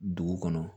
Dugu kɔnɔ